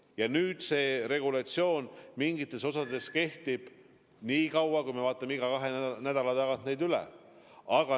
Ja nüüd see regulatsioon mingites osades kehtib niikaua, kuni me vaatame selle kahe nädala pärast üle.